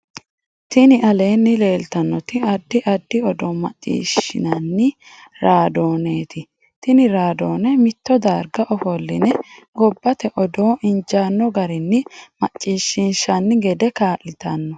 tini aleenni leelitannoti addi addi odoo maccishinanni raadoneti. tini raadone mitto darga ofoline gobbate odoo injanno garinni maccishinanni gede kaalitanno.